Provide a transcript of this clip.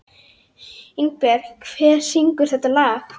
Ingberg, hver syngur þetta lag?